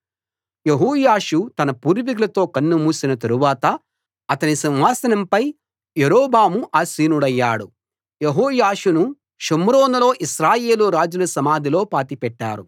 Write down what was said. యెహోయాషు తన పూర్వికులతో కన్నుమూసిన తరవాత అతని సింహాసనంపై యరొబాము ఆసీనుడయ్యాడు యెహోయాషును షోమ్రోనులో ఇశ్రాయేలు రాజుల సమాధిలో పాతిపెట్టారు